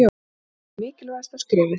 Það er því mikilvægasta skrefið.